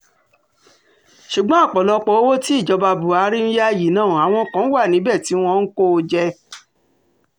ṣùgbọ́n ọ̀pọ̀lọpọ̀ owó tí ìjọba buhari ń yá yìí náà àwọn kan wà níbẹ̀ tí wọ́n ń kó o jẹ